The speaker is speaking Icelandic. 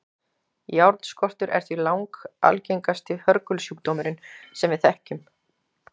járnskortur er því langalgengasti hörgulsjúkdómurinn sem við þekkjum